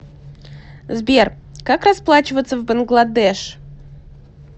сбер как расплачиваться в бангладеш